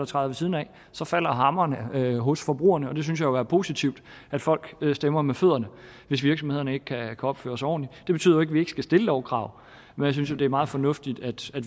træder ved siden af falder hammeren hos forbrugerne og jeg synes jo det er positivt at folk stemmer med fødderne hvis virksomhederne ikke kan opføre sig ordentligt det betyder ikke at vi ikke skal stille lovkrav men jeg synes jo det er meget fornuftigt at